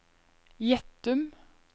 Gjettum